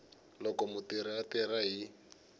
loko mutirhi a tirha hi